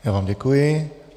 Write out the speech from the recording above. Já vám děkuji.